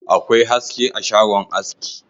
Akwai haske a shagon aski